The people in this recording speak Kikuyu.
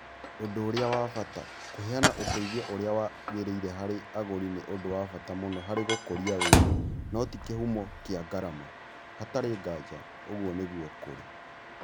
Ũndũ ũrĩa wa bata: Kũheana ũteithio ũrĩa wagĩrĩire harĩ agũri nĩ ũndũ wa bata mũno harĩ gũkũria wĩra, no ti kĩhumo kĩa ngarama. Hatarĩ nganja ũguo nĩguo kũrĩ.